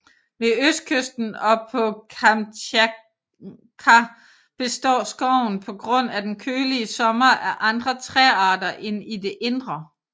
Ved østkysten og på Kamtjatka består skoven på grund af den kølige sommer af andre træarter end i det indre